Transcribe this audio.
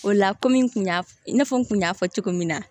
O la kɔmi n kun y'a f i n'a fɔ n kun y'a fɔ cogo min na